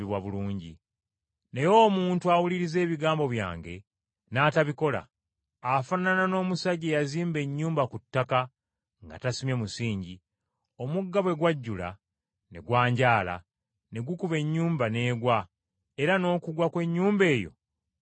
Naye omuntu awuliriza ebigambo byange n’atabikola, afaanana n’omusajja eyazimba ennyumba ku ttaka nga tasimye musingi. Omugga bwe gwajjula, ne gwanjaala, ne gukuba ennyumba n’egwa, era n’okugwa kw’ennyumba eyo kwali kunene nnyo.”